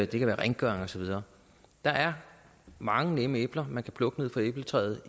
det kan være rengøring og så videre der er mange nemme æbler man kan plukke fra æbletræet